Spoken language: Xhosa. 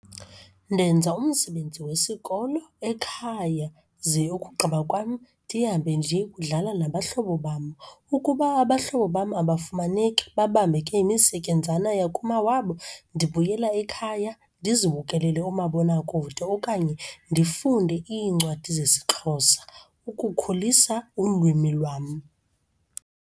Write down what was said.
Ndenza umsebenzi wesikolo ekhaya ze ukugqiba kwam ndihambe ndiye kudlala nabahlobo bam. Ukuba abahlobo bam abafumaneki babambeke yimisetyenzana yakomawabo, ndibuyela ekhaya ndizibukelele umabonakude okanye ndifunde iincwadi zesiXhosa ukukhulisa ulwimi lwam.